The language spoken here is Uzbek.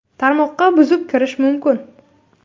Tarmoqqa buzib kirish mumkin.